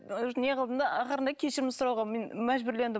уже не қылдым да ақырында кешірім сұрауға мен мәжбүрлендім